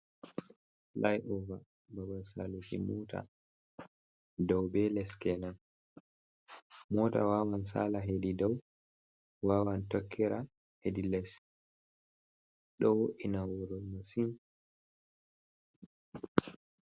Fulay ova, babal saaluki moota dow be les kenan, moota waawan saala hedi dow, waawan tokkira hedi les, ɗo wo''ina wuro masin.